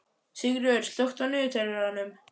Sigríkur, slökktu á niðurteljaranum.